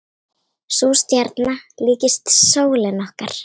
Sú stjarna líkist sólinni okkar.